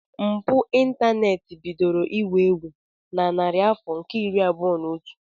Mpụ ịntaneti bidoro iwu ewu na narị afọ nke iri abụọ na otu.